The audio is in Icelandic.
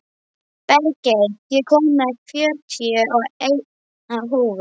Bergey, ég kom með fjörutíu og eina húfur!